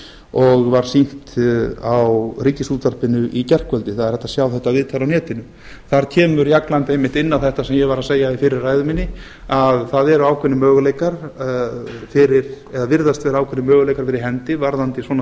og var sýnt á ríkisútvarpinu í gærkvöldi það er hægt að sjá þetta viðtal á netinu þar kemur jagland einmitt inn á þetta sem ég var að segja í fyrri ræðu minni að það virðast vera ákveðnir möguleikar fyrir hendi varðandi svona